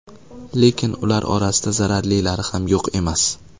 Lekin ular orasida zararlilari ham yo‘q emas.